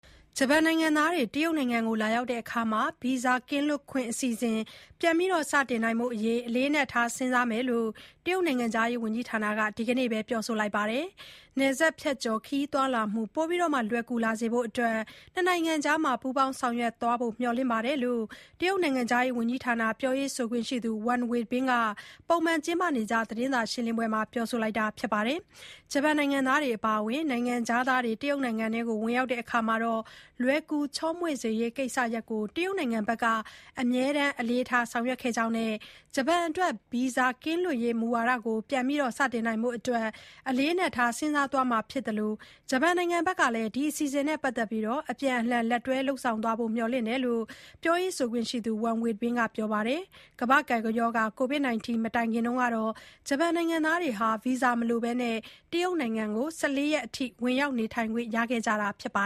ဂျပန်နိုင်ငံသားတွေ တရုတ်နိုင်ငံကို လာရောက်ရာမှာ ဗီဇာကင်းလွတ်ခွင့် အစီအစဉ်ပြန်လည်စတင်နိုင်ဖို့အတွက် အလေးအနက်ထားစဉ်းစားမယ်လို့ တရုတ်နိုင်ငံခြားရေးဝန်ကြီးဌာနက ဒီနေ့ပဲ ပြောပါတယ်။ နယ်စပ်ဖြတ်ကျော် ခရီးသွားလာမှု ပိုမိုလွယ်ကူလာစေဖို့အတွက် နှစ်နိုင်ငံကြားပူးပေါင်းဆောင်ရွက်သွားဖို့ မျှော်လင့်တယ်လို့ တရုတ်နိုင်ငံခြားရေးဝန်ကြီးဌာန ပြောရေးဆိုခွင့်ရှိသူ ဝမ်ဝမ်ဘင်က ပုံမှန်လုပ်နေကျ သတင်းစာရှင်းလင်းပွဲမှာ ပြောပါတယ်။ ဂျပန်နိုင်ငံသားတွေ အပါအဝင် နိုင်ငံခြားသားတွေ တရုတ်နိုင်ငံကို ဝင်ရောက်ရာမှာ လွယ်ကူချောမွေ့စေရေး ကိစ္စရပ်ကို တရုတ်နိုင်ငံက အမြဲတမ်း အလေးထား ဆောင်ရွက်ခဲ့ကြောင်း ဂျပန်အတွက် ဗီဇာကင်းလွတ်ရေး မူဝါဒကို ပြန်လည်စတင်နိုင်ဖို့ကိုလည်း အလေးအနက်ထား စဉ်းစားသွားမှာဖြစ်သလို၊ ဂျပန်နိုင်ငံဘက်ကလည်း အပြန်အလှန် လက်တွဲ လုပ်ဆောင်သွားဖို့ မျှော်လင့်တယ်လို့ လည်း ပြောရေးဆိုခွင့်ရှိသူ ဝမ်ဝမ်ဘင်က ပြောပါတယ်။ COVID-19 ကပ်ရောဂါ မတိုင်ခင်ကတော့ ဂျပန်နိုင်ငံသားတွေဟာ ဗီဇာမလိုဘဲ တရုတ်နိုင်ငံကို ၁၄ ရက်အထိ ဝင်ရောက်နေထိုင်ခွင့်ရခဲ့ကြတာပါ